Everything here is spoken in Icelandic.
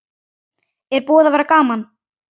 Er búið að vera gaman?